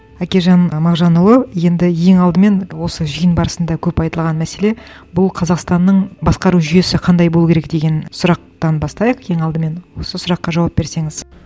әкежан і мағжанұлы енді ең алдымен осы жиын барысында көп айтылған мәселе бұл қазақстанның басқару жүйесі қандай болу керек деген сұрақтан бастайық ең алдымен осы сұраққа жауап берсеңіз